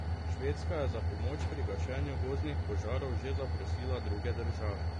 Švedska je za pomoč pri gašenju gozdnih požarov že zaprosila druge države.